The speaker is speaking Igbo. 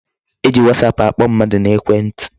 E ji whatsaap akpọ mmadụ n'ekwe ntị.